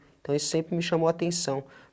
Então, isso sempre me chamou a atenção.